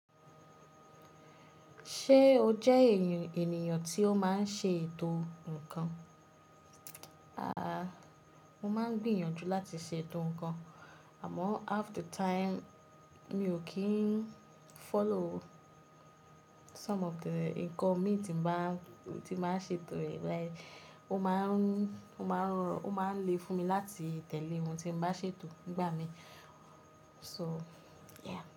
Ṣé o jẹ ènìyàn tí ó máa ń ṣe ètò ǹnkan? Mo máa ń gbìyànjú láti ṣe ètò ǹnkan àmọ́ half the time mi ò kí ń follow some of the ǹnkan mi tí n bà ń ṣe ètò rẹ̀ like o maa n ó máa ń lè fún mi láti tẹ̀lé ohun tí n bà ṣe ètò nígbà mí, so yeah.